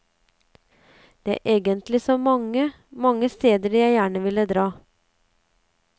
Det er egentlig så mange, mange steder jeg gjerne vil dra.